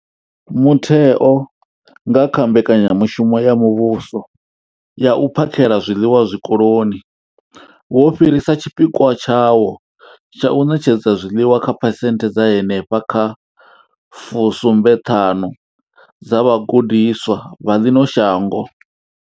Mutheo, nga kha mbekanyamushumo ya muvhuso ya u phakhela zwiḽiwa Zwikoloni, wo fhirisa tshipikwa tshawo tsha u ṋetshedza zwiḽiwa kha phesenthe dza henefha kha 75 dza vhagudiswa vha ḽino shango.